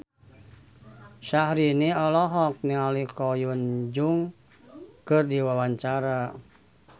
Syahrini olohok ningali Ko Hyun Jung keur diwawancara